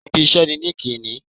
Ibi iṣẹ́ ni líńki-inì